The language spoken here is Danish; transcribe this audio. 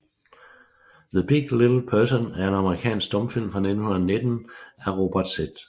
The Big Little Person er en amerikansk stumfilm fra 1919 af Robert Z